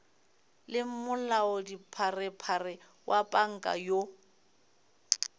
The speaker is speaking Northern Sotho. le molaodipharephare wa panka yoo